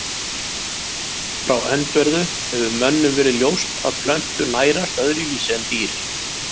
Frá öndverðu hefur mönnum verið ljóst að plöntur nærast öðruvísi en dýr.